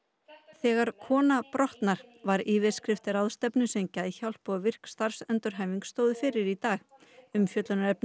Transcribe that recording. þegar kona brotnar var yfirskrift ráðstefnu sem Geðhjálp og virk starfsendurhæfing stóðu fyrir í dag umfjöllunarefnið